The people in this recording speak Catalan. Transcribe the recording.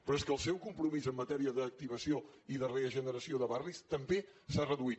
però és que el seu compromís en matèria d’activació i de regeneració de barris també s’ha reduït